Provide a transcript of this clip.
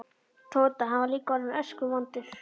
Tóta, hann var líka orðinn öskuvondur.